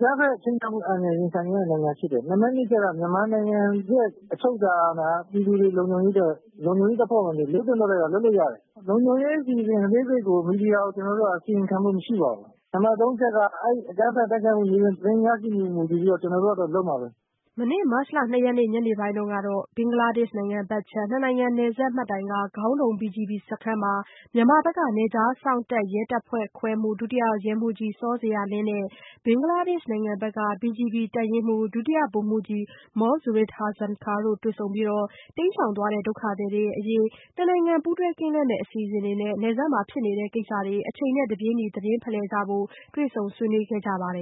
ကျနော်တို့ နိုင်ငံက အကြမ်းဖက်ခြိမ်းခြောက်ခံခဲ့ရတဲ့ နိုင်ငံဖြစ်တယ်။ နံပတ် နှစ်အချက်က မြန်မာနိုင်ငံရဲ့ အချုပ်အခြာအာဏာ ပြည်သူတွေ လုံခြုံရေးအတွက် လုံခြုံရေးတပ်ဖွဲ့ဝင်တွေ လုပ်သင့်လုပ်ထိုက်တာ လုပ်လို့ရတယ်။ လုံခြုံရေးအစီအစဉ်တွေကို ကျနော်တို့ကတော့ မီဒီယာကို အစီရင်ခံခွင့်မရှိပါဘူး။ နံပတ် သုံးအချက်ကတော့ အဲ့ဒီ့အကြမ်းဖက်တိုက်ခိုက်မှု မြေပြင်သတင်းအချက်အလက် ရရှိမှုအပေါ် မူတည်ပြီးတော့ ကျနော်တို့ဘက်ကတော့ လုပ်မှာပဲ။" မနေ့ မတ်လ ၂ရက်နေ့ ညနေပိုင်းကလည်း ဘင်္ဂလားဒေ့ရှ်နိုင်ငံဘက်ခြမ်း နှစ်နိုင်ငံ နယ်စပ်မှတ်တိုင်က ဂေါင်းဒုံ BGB စခန်းမှာ မြန်မာဘက်က နယ်ခြားစောင့်တပ် ရဲတပ်ဖွဲ့ခွဲမှူး ဒုတိယရဲမှူးကြီးစောဇေယျာလင်းနဲ့ ဘင်္ဂလားဒေ့ရှ်နိုင်ငံဘက်က BGB တပ်ရင်းမှူး ဒုတိယဗိုလ်မှူးကြီး မောန်ဇူရုပ်ဟာဆာန်ခါန်းတို့ ဦးဆောင်တဲ့ တပ်ဖွဲ့ဝင်တွေ တပ်ရင်းမှူးအဆင့်တွေ့ဆုံပွဲမှာ တွေ့ဆုံကြပြီး တိမ်းရှောင်သွားတဲ့ ဒုက္ခသည်တွေအရေး နှစ်နိုင်ငံ ပူးတွဲကင်းလှည့်မယ့်အစီအစဉ်တွေနဲ့ နယ်စပ်မှာ ဖြစ်နေတဲ့ကိစ္စတွေကို အချိန်နဲ့တပြေးညီ သတင်းဖလှယ်ကြဖို့ ဆွေးနွေးခဲ့ကြပါတယ်